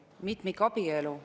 Aitäh, lugupeetud istungi juhataja!